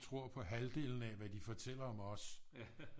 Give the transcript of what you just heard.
Tror på halvdelen af hvad de fortæller om os